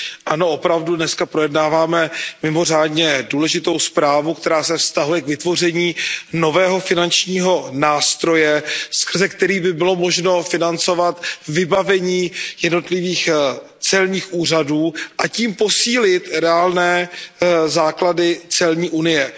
Ano, opravdu dnes projednáváme mimořádně důležitou zprávu, která se vztahuje k vytvoření nového finančního nástroje, skrze který by bylo možno financovat vybavení jednotlivých celních úřadů, a tím posílit reálné základy celní unie.